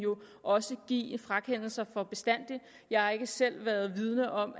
også give frakendelse for bestandig jeg er ikke selv vidende om